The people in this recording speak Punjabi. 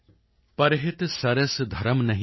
ਪਰਹਿਤ ਸਰਿਸ ਧਰਮ ਨਹੀਂ ਭਾਈ